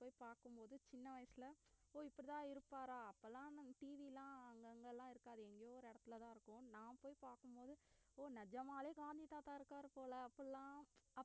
போய் பார்க்கும் போது சின்ன வயசுல ஓ இப்படித்தான் இருப்பாரா அப்பலாம் TV எல்லாம் அங்கங்க எல்லாம் இருக்காது எங்கேயோ ஒரு இடத்துலதான் இருக்கும் நான் போய் பார்க்கும் போது ஓ நிஜமாலே காந்தி தாத்தா இருக்காரு போல அப்படி எல்லாம்